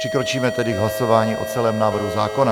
Přikročíme tedy k hlasování o celém návrhu zákona.